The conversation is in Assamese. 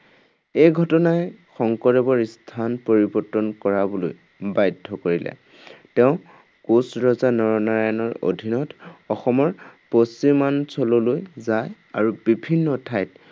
এই ঘটনাই শংকৰদেৱৰ স্থান পৰিৱৰ্তন কৰাবলৈ বাধ্য কৰিলে। তেওঁ কোঁচ ৰজা নৰনাৰায়ণৰ অধীনত অসমৰ পশ্চিমাঞ্চললৈ যায় আৰু বিভিন্ন ঠাইত